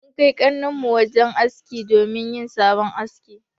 Mun Kai kanin mu wajen aski domin yayi sabon haski.